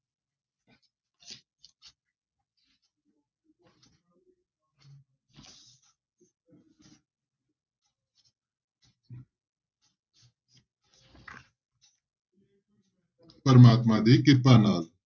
ਪ੍ਰਮਾਤਮਾ ਦੀ ਕਿਰਪਾ ਨਾਲ।